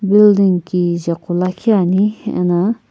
building kichae gho liikhi ane ano.